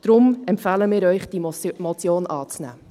Daher empfehlen wir Ihnen, diese Motion anzunehmen.